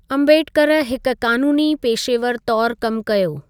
अम्बेडकर हिकु क़ानूनी पेशेवर तौरु कमु कयो।